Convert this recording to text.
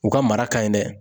U ka mara ka ɲi dɛ.